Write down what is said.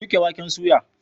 Shuka waken soya.